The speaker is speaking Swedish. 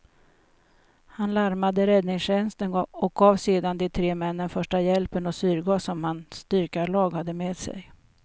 Han larmade räddningstjänsten och gav sedan de tre männen första hjälpen och syrgas som hans dykarlag hade med sig.